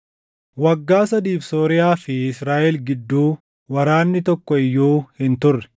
Waggaa sadiif Sooriyaa fi Israaʼel gidduu waraanni tokko iyyuu hin turre.